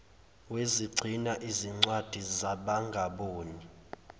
wezigcina zincwadi zabangaboni